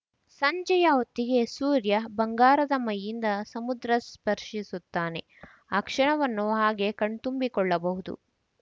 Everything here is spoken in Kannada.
ಸಂಜೆಯ ಹೊತ್ತಿಗೆ ಸೂರ್ಯ ಬಂಗಾರದ ಮೈಯಿಂದ ಸಮುದ್ರ ಸ್ಪರ್ಶಿಸುತ್ತಾನೆ ಆ ಕ್ಷಣವನ್ನು ಹಾಗೇ ಕಣ್ತುಂಬಿಕೊಳ್ಳಬಹುದು